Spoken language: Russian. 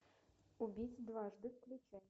убить дважды включай